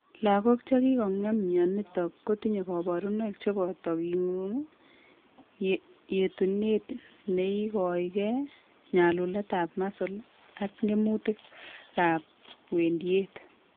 Lagok chekikong'em myonitok kotinye kabarunoik cheboto king'uung, yetunet neikoegei, nyalulet ab muscles ak ng'emutik en wendiet